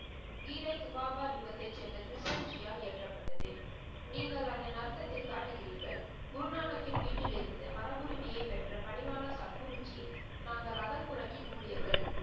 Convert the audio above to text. கீதை துவாபயுகத்தை சேர்ந்த ப்ரிசஞ்சியால் இயற்றப்பட்டது. நீங்கள் அதன் அர்த்தத்தில் காட்டுகுறீர்கள். குரு நானக்கின் வீட்டில் இருந்து மரபுரிமையை பெற்ற பணிவான சக்க்குருஜி நாங்கள் அகல் புறத்தின் ஊழியர்கள்